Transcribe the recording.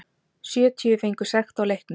Sjötíu fengu sekt á leiknum